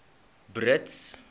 brits